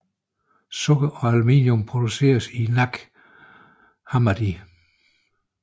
Sukker og aluminium produceres i Nag Hammadi